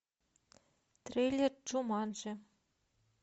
трейлер джуманджи